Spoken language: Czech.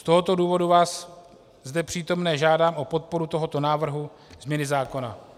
Z tohoto důvodu vás, zde přítomné, žádám o podporu tohoto návrhu změny zákona.